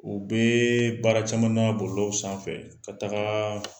U bɛ baara caman na bɔlɔlɔw sanfɛ ka taga